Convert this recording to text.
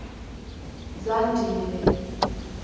zandile